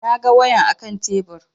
Na ga wayan a kan tebur